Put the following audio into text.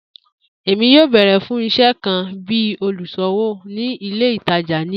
Emi yoo beere fun iṣẹ kan bi oluṣowo ni ile itaja ni ọla.